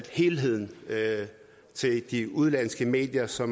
helheden til de udenlandske medier så